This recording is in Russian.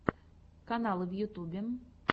каналы в ютубе